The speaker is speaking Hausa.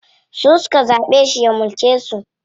Su suka zaɓe shi ya mulke su.